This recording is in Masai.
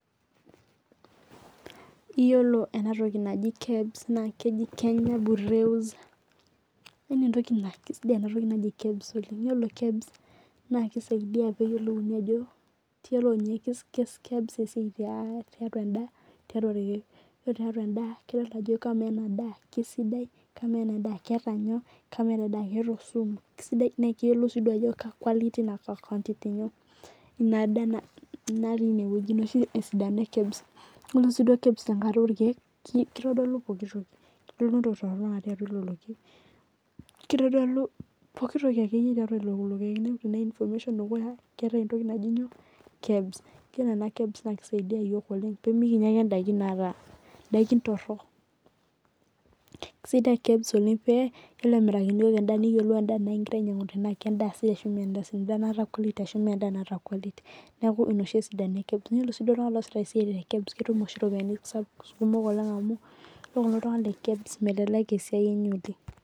Eyiolo ena toki najii kEBS naa keji ore ena toki naa kisaidia pee eyiolouni ore tiatua endaa naa ninye nainguraa eyiolo tenkata orkeek naa kitodolu pooki toki natii atua lelo keek ore enatoki naa kisaidia iyiok pee mikinyia ake edaiki nataa torok kisidai amu ekiyiolou egirai amiraki eyiok endaa tenaa kendaa sidai ashu mee enda sidai endaa nataa quality ashu endaa nemeeta quality neeku ena oshi esidano enye ore sii iltung'ana osisho tene naa ketum eropiani kumok amuu eyiolo kulo tung'ana melelek esiai enye oleng'.